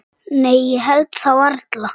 Nei það held ég varla.